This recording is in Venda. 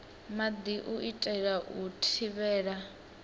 maḓi u itela u thivhela